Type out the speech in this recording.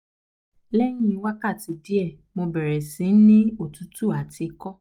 Lẹyìn wákàtí diẹ sí ni mo bẹrẹ sí ni otutu ati ikọ